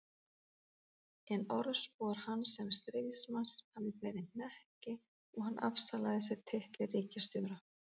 En orðspor hans sem stríðsmanns hafði beðið hnekki og hann afsalaði sér titli ríkisstjóra.